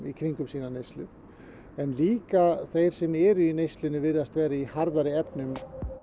í kringum sína neyslu en líka þeir sem eru í neyslunni virðast vera í harðari efnum